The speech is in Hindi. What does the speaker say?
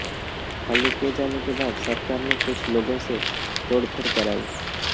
खाली किए जाने के बाद सरकार ने कुछ लोगों से तोड़फोड़ कराई